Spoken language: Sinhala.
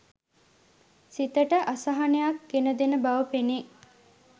සිතට අසහනයක් ගෙන දෙන බව පෙනේ.